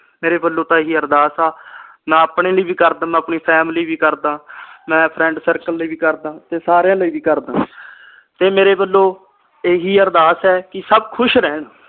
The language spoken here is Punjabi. ਮੇਰੇ ਵਲੋਂ ਤਾ ਇਹੀ ਅਰਦਾਸ ਆ ਮੈ ਆਪਣੇ ਲਈ ਵੀ ਕਰਦਾ ਆਪਣੀ family ਵੀ ਕਰਦਾ ਮੈਂ friend circle ਲਈ ਵੀ ਕਰਦਾ ਤੇ ਸਾਰਿਆਂ ਲਈ ਵੀ ਕਰਦਾ ਤੇ ਮੇਰੇ ਵਲੋਂ ਇਹੀ ਅਰਦਾਸ ਏ ਕੇ ਸਬ ਖੁਸ਼ ਰਹਿਣ